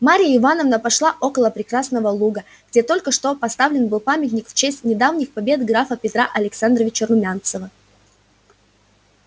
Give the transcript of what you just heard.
марья ивановна пошла около прекрасного луга где только что поставлен был памятник в честь недавних побед графа петра александровича румянцева